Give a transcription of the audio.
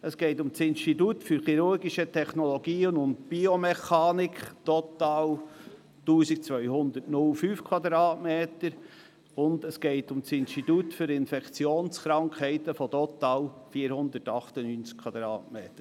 Es geht weiter um das Institut für chirurgische Technologien und Biomechanik mit total 1205 m und um das Institut für Infektionskrankheiten (IFIK) mit total 498m.